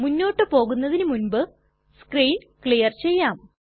മുന്നോട്ട് പോകുന്നതിനു മുൻപ് നമുക്ക് സ്ക്രീൻ ക്ലിയർ ചെയ്യാം